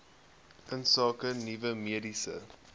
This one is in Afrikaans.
insake nuwe mediese